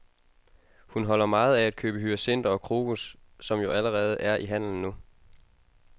Hun holder meget af at købe hyacinter og krokus, som jo allerede er i handelen nu.